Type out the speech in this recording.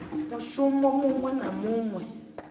mushumo muṅwe na muṅwe we